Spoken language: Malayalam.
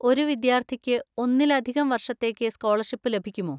ഒരു വിദ്യാർത്ഥിക്ക് ഒന്നിലധികം വർഷത്തേക്ക് സ്കോളർഷിപ്പ് ലഭിക്കുമോ?